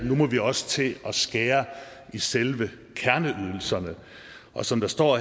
må vi også til at skære i selve kerneydelserne og så står